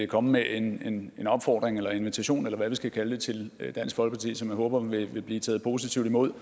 komme med en en opfordring eller invitation eller hvad vi skal kalde det til dansk folkeparti som jeg håber vil blive taget positivt imod